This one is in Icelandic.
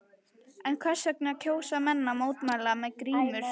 En hvers vegna kjósa menn að mótmæla með grímur?